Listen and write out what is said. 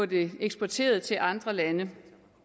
det eksporteret til andre lande